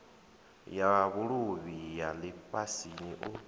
ya vhuluvhi ya lifhasini u